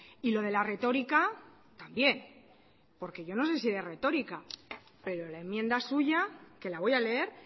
y lo de la retórica también porque yo no sé si de retórica pero la enmienda suya que la voy a leer